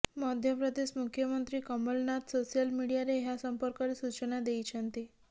ମଧ୍ୟପ୍ରଦେଶ ମୁଖ୍ୟମନ୍ତ୍ରୀ କମଲନାଥ ସୋସିଆଲ ମିଡିଆରେ ଏହା ସମ୍ପର୍କରେ ସୂଚନା ଦେଇଛନ୍ତି